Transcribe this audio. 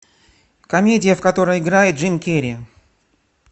комедия в которой играет джим керри